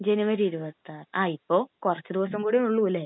ജനുവരി 26,ങാ..ഇപ്പൊ കുറച്ചു ദിവസം കൂടേ ഉള്ളൂ അല്ലെ?